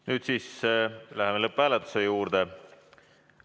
Nüüd siis läheme lõpphääletuse juurde.